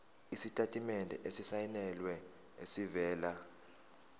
isitatimende esisayinelwe esivela